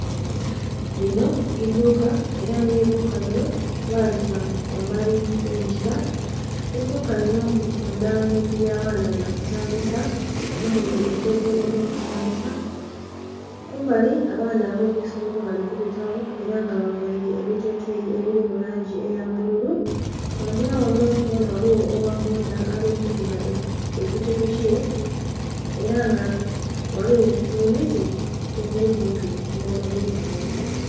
Linho idhuka era nga eidhuka linho balita ghambali ghe ngila, eidhuka linho litundha bintu bya baana bya kuzanhisa omuli endhege dho kuzanhisa, kumbali abaana abeisomero bali kubitagho era nga bavaire ebiteteyi ebili mu langi eya bbulu kungila ghanho ghona ghaligho ogha bboda yena ali kuvuba epikipiki ye era nga ghaligho nhe miti edhili kumpi nha madhuka ganho.